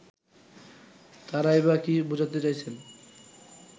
তারাই বা কি বোঝাতে চাইছেন